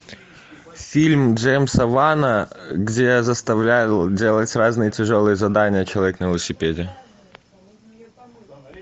фильм джеймса вана где заставлял делать разные тяжелые задания человек на велосипеде